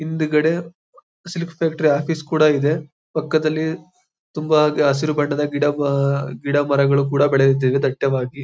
ಹಿಂದ್ಗಡೆ silk factory office ಕೂಡ ಇದೆ. ಪಕ್ಕದಲ್ಲಿ ತುಂಬಾ ಹಸಿರು ಬಣ್ಣದ ಗಿಡ ಮ ಗಿಡ ಮರಗಳು ಕೂಡ ಬೆಳೆಯುತ್ತಿವೆ ದಟ್ಟವಾಗಿ.